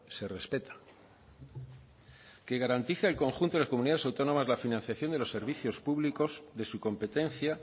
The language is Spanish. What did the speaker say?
se respeta que garantice al conjunto de las comunidades autónomas la financiación de los servicios públicos de su competencia